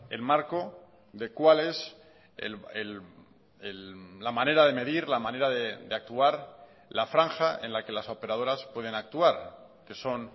el marco de cuál es la manera de medir la manera de actuar la franja en la que las operadoras pueden actuar que son